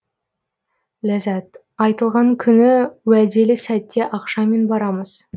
ләззат айтылған күні уәделі сәтте ақшамен барамыз